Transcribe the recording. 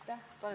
Aitäh!